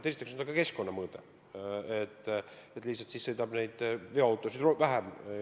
Esiteks on mängus ka keskkonnamõõde: siis lihtsalt sõidab veoautosid vähem.